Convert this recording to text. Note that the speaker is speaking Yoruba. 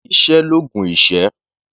Iṣẹ́ l'oògùn ìṣẹ́.